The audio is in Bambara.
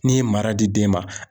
N'i ye mara di den ma.